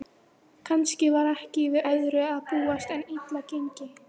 Kannski var ekki við öðru að búast en illa gengi.